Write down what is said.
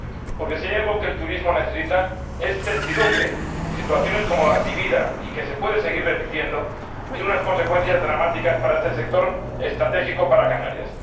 Porque si hay algo que el turismo necesita es certidumbre. Y situaciones como la vivida —y que se puede seguir repitiendo— tienen unas consecuencias dramáticas para este sector estratégico para Canarias.